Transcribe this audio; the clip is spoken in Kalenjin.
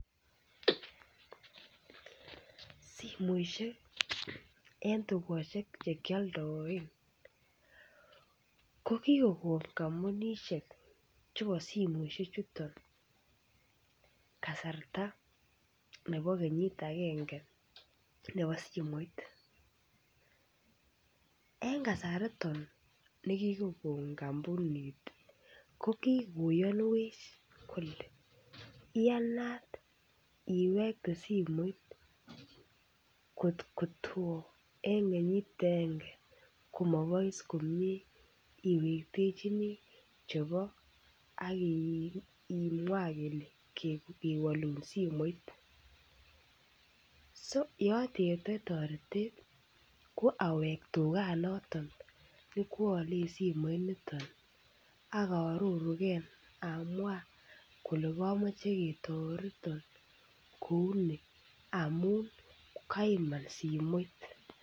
Simoishek eng dukoshek che kialdaen, ko kikokon kampunishek chepo simeshek chuton kasarta nebo kenyit agenge nebo simoit. Eng kasariton ne kikokon kampunit ko kikoyanwech kole iyanat iwekte simoit kokto tom eng kenyit agenge komopois komie iwektechini chepo ak imwa kele kewalun simoit. So ye ateptain tareteet ko aweek dukanoton ne kwaale simoit niton akarurunkee amwan kole kamache ketaretan kouni amuun keiman simoit.